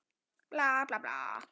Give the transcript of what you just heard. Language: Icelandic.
Þá fór ég að spila á dansæfingum.